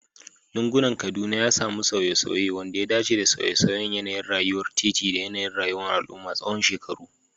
Lugunan Kaduna ya sami sauye-sauye, wanda ya dace da sauye-sauyen yanayin rayuwar titi da yanayin rayuwar al'umma tsawon shekaru.